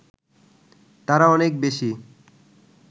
তারা অনেক বেশি